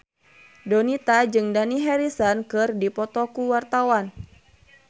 Donita jeung Dani Harrison keur dipoto ku wartawan